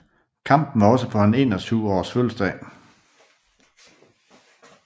Kampen var også på hans 21 års fødselsdag